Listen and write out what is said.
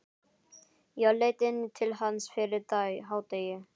Ég leit inn til hans fyrir hádegi.